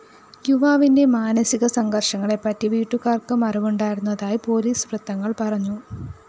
യുവാവിന്റെ മാനസിക സംഘര്‍ഷങ്ങളെപ്പറ്റി വീട്ടുകാര്‍ക്കും അറിവുണ്ടായിരുന്നതായി പൊലീസ് വൃത്തങ്ങള്‍ പറഞ്ഞു